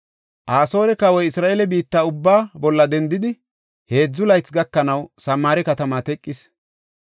Asoore kawoy Isra7eele biitta ubbaa bolla dendidi, heedzu laythi gakanaw Samaare katama teqis.